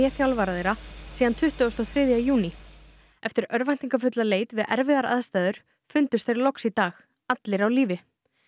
þjálfara þeirra síðan tuttugasta og þriðja júní eftir leit við erfiðar aðstæður fundust þeir loks í dag allir á lífi